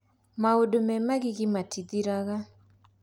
Maũndũ me magigi matithiraga.